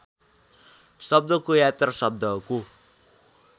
शब्दको यात्रा शब्दको